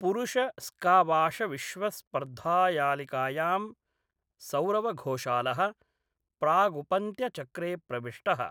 पुरुष स्कावाशविश्वस्पर्धायालिकायां सौरवघोषाल: प्रागुपन्त्यचक्रे प्रविष्टः।